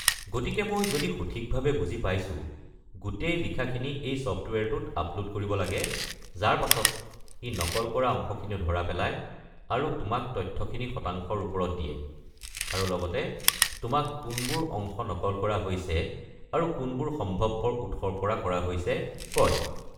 গতিকে, মই যদি সঠিকভাৱে বুজি পাইছো, গোটেই লিখাখিনি এই ছফ্টৱেৰটোত আপলোড কৰিব লাগে, যাৰ পাছত ই নকল কৰা অংশখিনি ধৰা পেলায় আৰু তোমাক তথ্যখিনি শতাংশৰ ৰূপত দিয়ে, আৰু লগতে তোমাক কোনবোৰ অংশ নকল কৰা হৈছে আৰু কোনবোৰ সম্ভৱপৰ উৎসৰ পৰা কৰা হৈছে কয়।